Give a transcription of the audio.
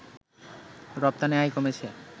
রপ্তানি আয় কমেছে